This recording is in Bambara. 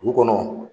Du kɔnɔ